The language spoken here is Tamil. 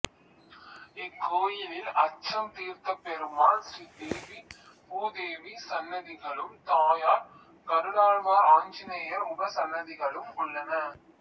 இக்கோயிலில் அச்சம் தீர்த்த பெருமாள் ஸ்ரீ தேவி பூதேவி சன்னதிகளும் தாயார் கருடாழ்வார் ஆஞ்சநேயர் உபசன்னதிகளும் உள்ளன